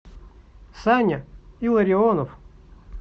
саня илларионов